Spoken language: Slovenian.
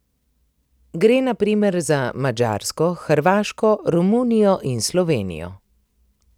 Gre na primer za Madžarsko, Hrvaško, Romunijo in Slovenijo.